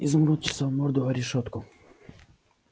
изумруд чесал морду о решётку